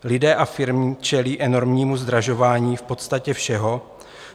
Lidé a firmy čelí enormnímu zdražování v podstatě všeho.